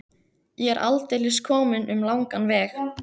Ég er aldeilis kominn um langan veg.